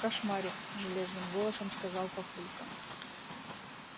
кошмарик железным голосом сказал папулька